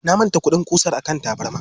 Na manta kuɗin ƙusar a kan tabarma.